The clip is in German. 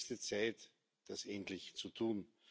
Es ist höchste Zeit, das endlich zu tun.